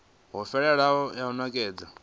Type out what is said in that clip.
yo fhelelaho ya u nekedza